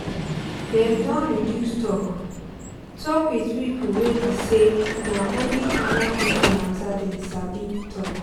dem don reduce talk talk with pipo wey be say na only orda pipo matter dem sabi talk